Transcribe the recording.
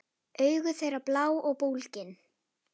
Augu þeirra blá og bólgin.